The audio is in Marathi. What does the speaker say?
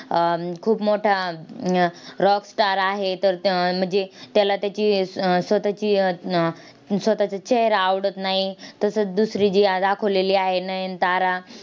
अह खूप मोठा अं rockstar आहे. तर त म्हणजे त्याला त्याची स्व स्वतःची स्वतःचा चेहरा आवडत नाही. तसंच दुसरी जी दाखवलेली आहे नयनतारा,